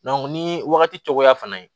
ni wagati cogoya fana ye